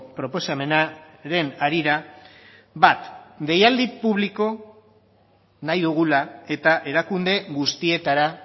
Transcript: proposamenaren harira bat deialdi publikoa nahi dugula eta erakunde guztietara